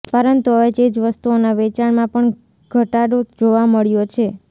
પરંતુ હવે ચીજવસ્તુઓના વેચાણમાં પણ દ્યટાડો જોવા મળ્યો છે